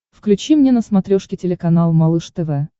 включи мне на смотрешке телеканал малыш тв